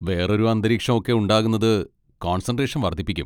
വേറൊരു അന്തരീക്ഷം ഒക്കെ ഉണ്ടാകുന്നത് കോൺസെൻട്രേഷൻ വർദ്ധിപ്പിക്കും.